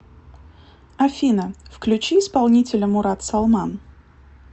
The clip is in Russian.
афина включи исполнителя мурат салман